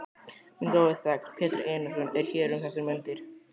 Minn góði þegn, Pétur Einarsson, er hér um þessar mundir.